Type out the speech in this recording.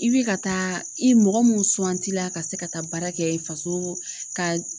I bɛ ka taa i mɔgɔ mun suwanti la ka se ka taa baara kɛ faso ka